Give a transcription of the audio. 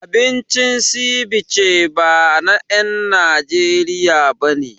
Abincin Ceviche ba na en Najeriya bane